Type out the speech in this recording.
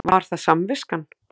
Var það samviskan?